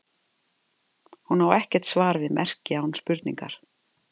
Hún á ekkert svar við merki án spurningar.